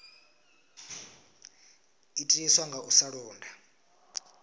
itiswa nga u sa londa